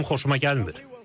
Bu mənim xoşuma gəlmir.